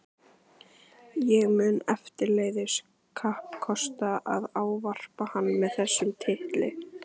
Ég mun eftirleiðis kappkosta að ávarpa hann með þessum titli.